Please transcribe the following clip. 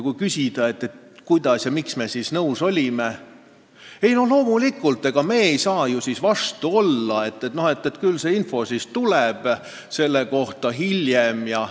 Kui küsida, miks me ikkagi nõus oleme, on vastus, et loomulikult oleme, ega me ei saa ju vastu olla ja küll see info tuleb selle kohta hiljem.